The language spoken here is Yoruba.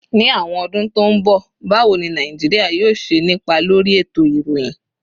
Ní àwọn ọdún tó ń bọ̀, báwo ni Nàìjíríà yóò ṣe nípa lórí ètò ìròyìn?